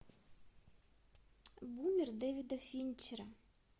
бумер дэвида финчера